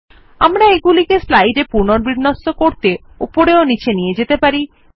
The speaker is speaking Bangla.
আমরা এগুলিকে স্লাইডে পুনর্বিন্যস্ত করতে উপরে ও নীচে নিয়ে যেতে পারি